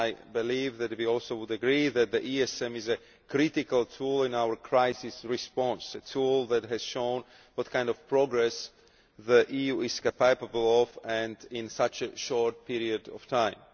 I believe that we would also agree that the ESM is a critical tool in our crisis response, a tool that has shown what kind of progress the EU is capable of and in such a short period of time.